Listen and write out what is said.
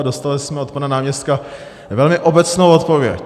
A dostali jsme od pana náměstka velmi obecnou odpověď.